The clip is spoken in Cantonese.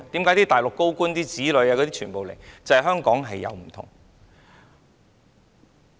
為何大陸高官的子女要來港？